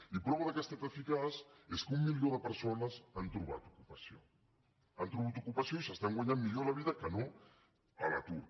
i la prova que ha estat eficaç és que un milió de persones han trobat ocupació han trobat ocupació i s’estan guanyant millor la vida que no a l’atur